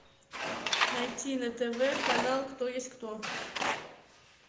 найти на тв канал кто есть кто